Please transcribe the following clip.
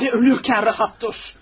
Barı ölürkən rahat dur.